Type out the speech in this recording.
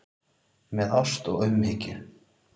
Með ást og umhyggju.